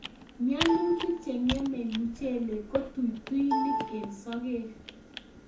mianutik che ng'emei muchelek ko tutuinik eng' sogek